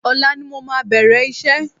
Ọ̀la ni mo máa bẹ̀rẹ̀ iṣẹ́